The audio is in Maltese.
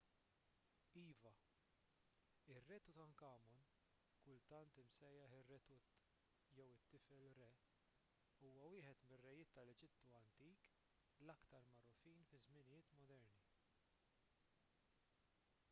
iva ir-re tutankhamun kultant imsejjaħ ir-re tut jew it-tifel re huwa wieħed mir-rejiet tal-eġittu antik l-aktar magħrufin fiż-żminijiet moderni